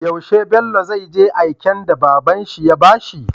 Yaushe Bello zai je aiken da babanshi ya bashi?